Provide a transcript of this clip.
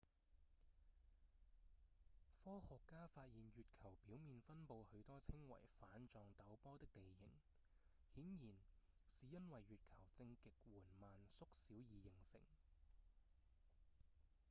科學家發現月球表面分布許多稱為瓣狀陡坡的地形顯然是因為月球正極緩慢縮小而形成